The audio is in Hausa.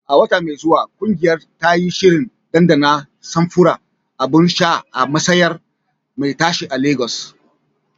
A wata mai zuwa, ƙungiyar ta yi shirin ɗanɗana samfuran abun sha a mashayar me tashe a lagos